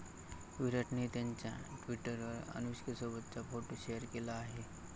विराटनेही त्याच्या ट्विटरवर अनुष्कासोबतचा फोटो शेअर केला आहे.